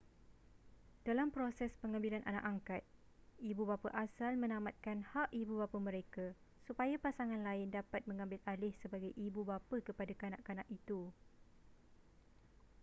dalam proses pengambilan anak angkat ibu bapa asal menamatkan hak ibubapa mereka supaya pasangan lain dapat mengambil alih sebagai ibubapa kepada kanak-kanak itu